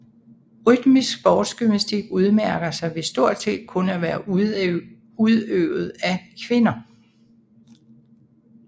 Rytmisk sportsgymnastik udmærker sig ved stort set kun at være udøvet af kvinder